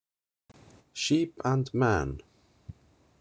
Sheep and man.